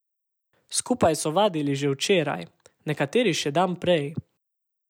Skupaj so vadili že včeraj, nekateri še dan prej.